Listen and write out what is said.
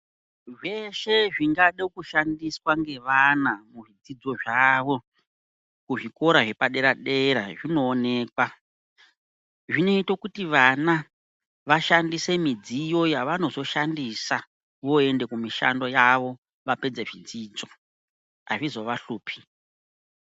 Zveshe zvingade kushandiswa ngevana muzvidzidzo zvavo kuzvikora zvepaderdera zvinookwa, zvinoite kuti vana vashandise midziyo yavonozoshandisa voende kumishando yavo vapedze zvidzidzo azvizovahlupi.